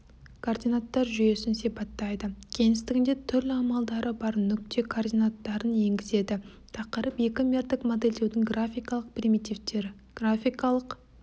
координаттар жүйесін сипаттайды кеңістігінде түрлі амалдары бар нүкте координаттарын енгізеді тақырып екімердік модельдеудің графикалық примитивтері графикалық